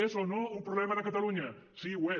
és o no un problema de catalunya sí ho és